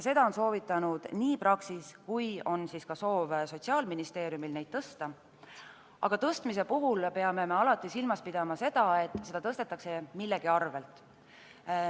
Seda on soovitanud Praxis ja ka Sotsiaalministeeriumi soov on neid tõsta, aga tõstmise puhul peame alati silmas pidama, et seda tõstetakse millegi arvel.